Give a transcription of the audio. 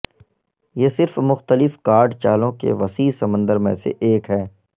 یہ صرف مختلف کارڈ چالوں کے وسیع سمندر میں سے ایک ہے